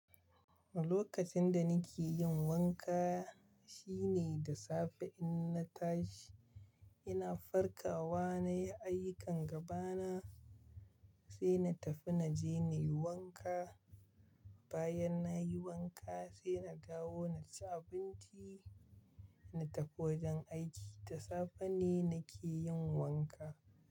Lokacin da nake yin wanka shine da safe in na tashi. Ina farkawa na yi ayukin gaba na, sai na tafi na je na yi wanka. Bayan na yi wanka sai na dawo na ci abinci, na tafi wajen aiki. Da safe ne na ke yin wanka.